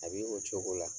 A b'i o cogo la